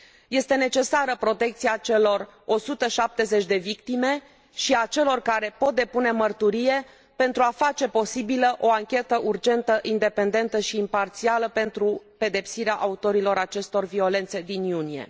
Este necesară protecția celor 170 de victime și a celor care pot depune mărturie, pentru a face posibilă o anchetă urgentă, independentă și imparțială pentru pedepsirea autorilor acestor violențe din iunie.